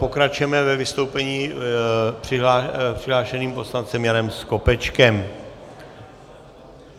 Pokračujeme ve vystoupení přihlášeným poslancem Janem Skopečkem.